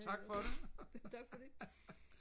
tak for det